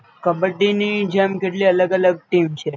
કબડ્ડીની જેમ કેટલી અલગ અલગ ટીમ છે